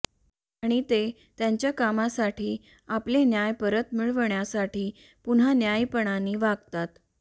आणि ते त्यांच्या कामासाठी आपले न्याय परत मिळविण्यासाठी पुन्हा न्यायीपणाने वागतात